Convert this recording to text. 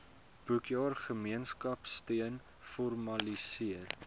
boekjaar gemeenskapsteun formaliseer